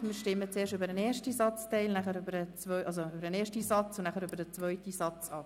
Wir stimmen zuerst über den ersten und anschliessend über den zweiten Satz ab.